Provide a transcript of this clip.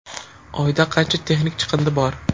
Oyda qancha texnik chiqindi bor?.